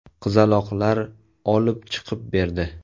Qizaloqlar olib chiqib berdi.